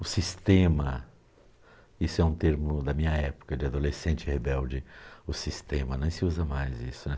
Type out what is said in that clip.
O sistema, isso é um termo da minha época, de adolescente rebelde, o sistema, nem se usa mais isso, né.